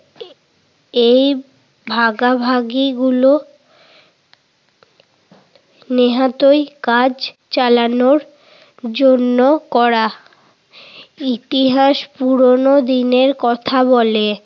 এই ভাগাভাগিগুলো নেহাতই কাজ চালানোর জন্য করা ইতিহাস পুরোনো দিনের কথা বলে।